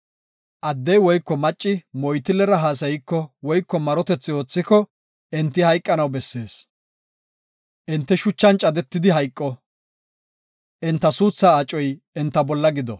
“Addey woyko macci moytillera haasayiko woyko marotiko, enti hayqanaw bessees. Enti shuchan cadetidi hayqo; enta suuthaa acoy enta bolla gido.”